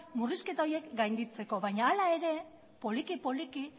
murrizketa horiek gainditzeko baina hala ere poliki poliki